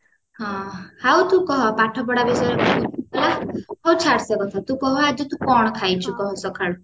ହଁ ଆଉ ତୁ କହ ପାଠପଢା ବିଷୟରେ ବହୁତ ହେଲା ହଉ ଛାଡ ସେ କଥା ତୁ କହ ଆଜି ତୁ କଣ ଖାଇଛୁ କହ ସକାଳୁ